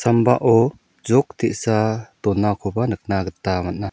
sambao jok te·sa donakoba nikna gita man·a.